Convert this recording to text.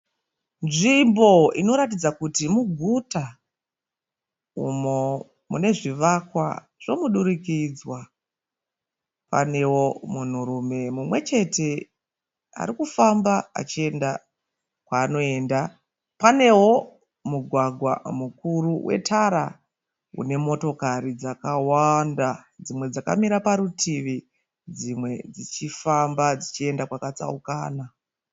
Nzvimbo inoratidza kuti muguta, umo mune zvivakwa zvomudurikidzwa. Panewo munhurume mumwe chete ari kufamba achienda kwaanoenda. Panewo mugwagwa mukuru wetara une motokari dzakawanda. Dzimwe dzakamira parutivi, dzimwe dzichifamba dzichienda kwakatsaukana.